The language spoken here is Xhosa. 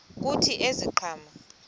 kuthi ezi ziqhamo